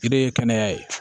De ye kɛnɛya ye